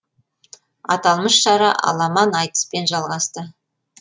аталмыш шара аламан айтыспен жалғасты